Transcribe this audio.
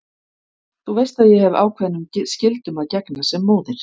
Þú veist að ég hef ákveðnum skyldum að gegna sem móðir.